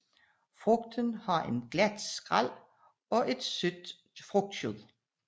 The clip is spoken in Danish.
Frugten har en glat skræl og et sødt frugtkød